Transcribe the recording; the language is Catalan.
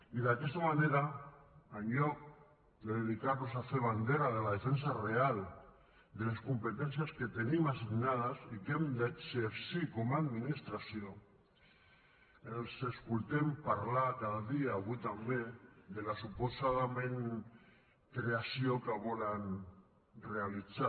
i d’aquesta manera en lloc de dedicar los a fer bandera de la defensa real de les competències que tenim assignades i que hem d’exercir com a administració els escoltem parlar cada dia avui també de la suposada creació que volen realitzar